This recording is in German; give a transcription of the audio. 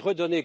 wichtig, in alle